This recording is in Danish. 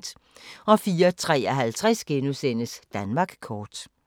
04:53: Danmark kort *